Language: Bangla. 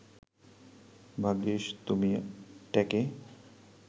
ভাগ্যিস তুমি ট্যাঁকে